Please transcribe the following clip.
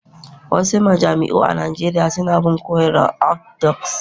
wasu majami'u a Najeriya suna bin koyarwar Orthodox